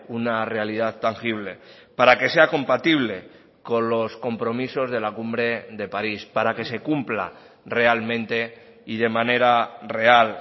una realidad tangible para que sea compatible con los compromisos de la cumbre de parís para que se cumpla realmente y de manera real